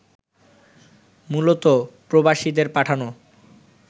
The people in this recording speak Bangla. মূলত প্রবাসীদের পাঠানো